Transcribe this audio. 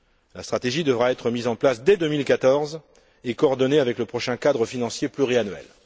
La stratégie devra être mise en place dès 2014 et coordonnée avec le prochain cadre financier pluriannuel.